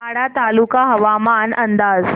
वाडा तालुका हवामान अंदाज